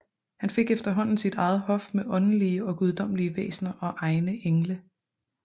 Han fik efterhånden sit eget hof med åndelige og guddommelige væsner og egne engle